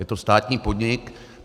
Je to státní podnik.